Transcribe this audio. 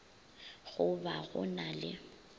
go ba go na le